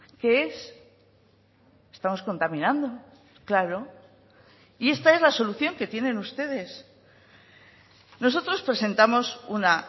qué es estamos contaminando claro y esta es la solución que tienen ustedes nosotros presentamos una